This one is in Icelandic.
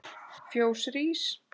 Fjós rís